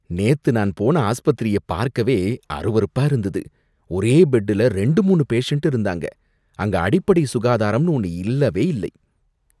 நேத்து நான் போன ஆஸ்பத்திரிய பார்க்கவே அருவருப்பா இருந்தது. ஒரே பெட்ல ரெண்டு மூணு பேஷன்ட் இருந்தாங்க, அங்க அடிப்படை சுகாதாரம்னு ஒன்னு இல்லவே இல்ல.